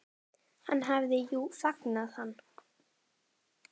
Hann hafði jú fangað hann.